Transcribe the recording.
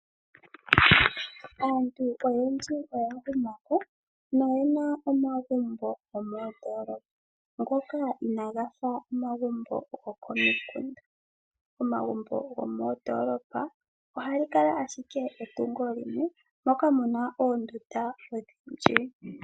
Aantu oyendji oya humakomeho noye na omagumbo gomoondoolopa ngoka inaaga fa omagumbo gomomikunda. Omagumbo gomoondoolopa ohaga kala owala etungo limwe moka mu na oondunda odhindji.